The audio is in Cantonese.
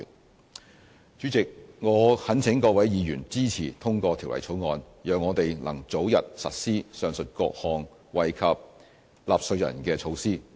代理主席，我懇請各位議員支持通過《條例草案》，讓我們能早日實施上述各項惠及納稅人的措施。